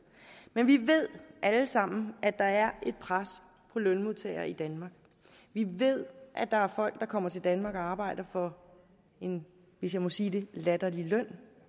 men vi ved alle sammen at der er pres på lønmodtagere i danmark vi ved at der er folk der kommer til danmark og arbejder for en hvis jeg må sige det latterlig løn